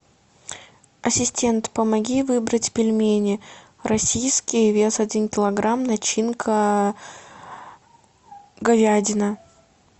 ассистент помоги выбрать пельмени российские вес один килограмм начинка говядина